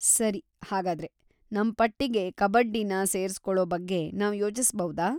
ಸರಿ, ಹಾಗಾದ್ರೆ, ನಮ್ ಪಟ್ಟಿಗೆ ಕಬಡ್ಡಿನ ಸೇರ್ಸ್ಕೊಳೋ ಬಗ್ಗೆ ನಾವ್‌ ಯೋಚಿಸ್ಬೌದಾ?